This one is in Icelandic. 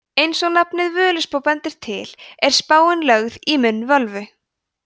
eins og nafnið völuspá bendir til er spáin lögð í munn völvu